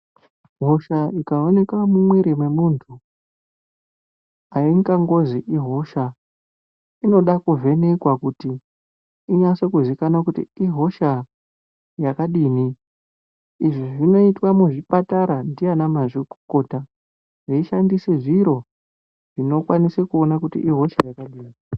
Hosha ikaonenka mumwiri mwemunhu aingangozi ihosha inoda kuvhenekwa kuti inase kuzikana kuti ihosha yakadini izvi zvinooitwa muchipatara ndiana mazvikokota veishandise zviro zvinokwanise kuone kuti ihosha yakadini.